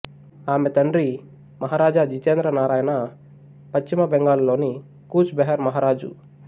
ఆమె తండ్రి మహారాజా జితేంద్ర నారాయణ్పశ్చిమ బెంగాలు లోని కూచ్ బెహర్ మహారాజు